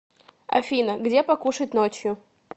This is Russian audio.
афина где покушать ночью